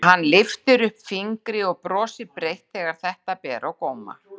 Hann lyftir upp fingri og brosir breitt þegar þetta ber á góma.